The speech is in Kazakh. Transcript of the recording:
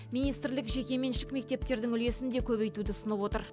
министрлік жекеменшік мектептердің үлесін де көбейтуді ұсынып отыр